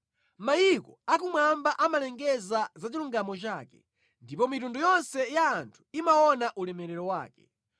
Mayiko akumwamba amalengeza za chilungamo chake, ndipo mitundu yonse ya anthu imaona ulemerero wake.